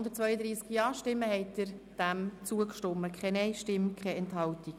Sie haben dem Antrag mit 132 Ja-Stimmen zugestimmt, ohne Nein-Stimmen und Enthaltungen.